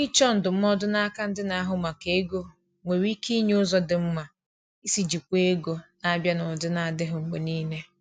Ịchọ ndụmọdụ n'aka ndị na-ahụ maka ego nwere ike inye ụzọ dị mma isi jikwaa ego na-abịa n’ụdị na-adịghị mgbe niile.